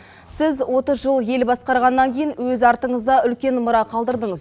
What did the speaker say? сіз отыз жыл ел басқарғаннан кейін өз артыңызда үлкен мұра қалдырдыңыз